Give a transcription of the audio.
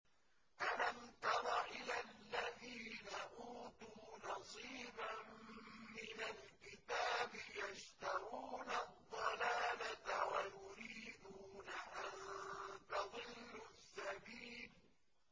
أَلَمْ تَرَ إِلَى الَّذِينَ أُوتُوا نَصِيبًا مِّنَ الْكِتَابِ يَشْتَرُونَ الضَّلَالَةَ وَيُرِيدُونَ أَن تَضِلُّوا السَّبِيلَ